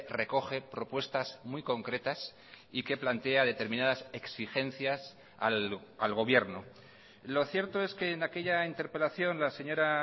recoge propuestas muy concretas y que plantea determinadas exigencias al gobierno lo cierto es que en aquella interpelación la señora